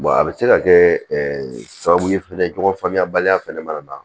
a bɛ se ka kɛ sababu ye fɛnɛ ɲɔgɔn faamuyabaliya fɛnɛ mana na